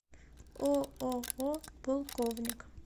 ооо полковник